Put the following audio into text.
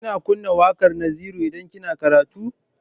Kina kunna waƙar Naziru idan kina karatu?